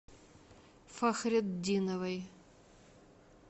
фахретдиновой